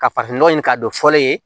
Ka farafinnɔgɔ ɲini k'a dɔn fɔlen ye